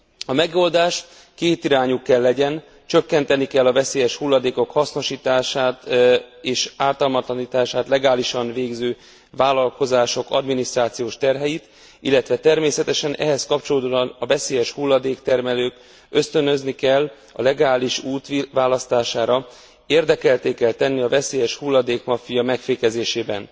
A megoldás kétirányú kell legyen csökkenteni kell a veszélyes hulladékok hasznosítását és ártalmatlanítását legálisan végző vállalkozások adminisztrációs terheit, illetve természetesen ehhez kapcsolódóan a veszélyeshulladék termelőt ösztönözni kell a legális út választására, érdekeltté kell tenni a veszélyeshulladék maffia megfékezésében.